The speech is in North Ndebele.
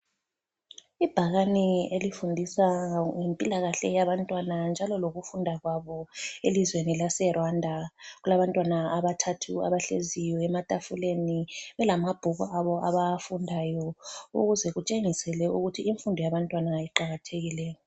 Ibhakane elifundisa ngempilakahle yabantwana njalo lokufunda kwabo elizweni lase Rwanda. Kulabantwana abathathu abahleziyo ematafuleni belamabhuku abo abawafundayo ukuze kutshengisele ukuthi imfundo yabantwana iqakathekile.